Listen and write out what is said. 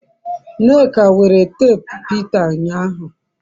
nneka were teepu Peter unyahu